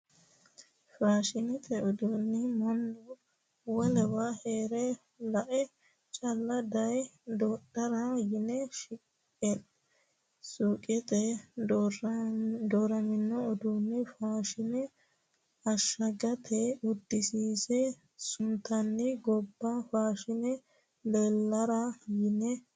Faashinete uduune mannu wolewa heere lae calla daaye dodhara yine suqeteni dooramino uduune fushine ashagulitete udisiinse suntani gobba fushine leellara yine.